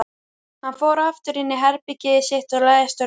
Hann fór aftur inní herbergið sitt og lagðist á rúmið.